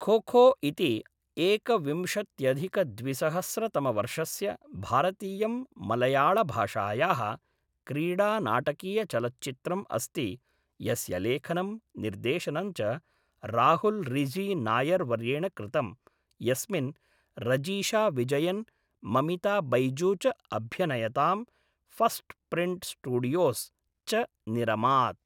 खोखो इति एकविंशत्यधिकद्विसहस्रतमवर्षस्य भारतीयं मलयाळभाषायाः क्रीडानाटकीयचलच्चित्रम् अस्ति, यस्य लेखनं, निर्देशनं च राहुल् रिजी नायर् वर्येण कृतं, यस्मिन् रजीशा विजयन्, ममिता बैजू च अभ्यनयतां, फ़स्ट् प्रिण्ट् स्टूडियोस् च निरमात्।